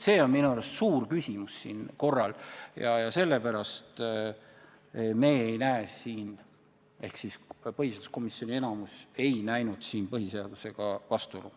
See on minu arvates suur küsimus ja sellepärast ei näe me siin – ja ka põhiseaduskomisjoni enamus ei näinud – põhiseadusega vastuolu.